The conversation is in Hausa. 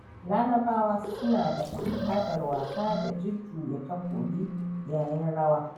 Larabawa suna da al'adar wasa da jujjuya takobi yayin rawa.